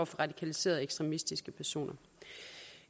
radikaliserede ekstremistiske personer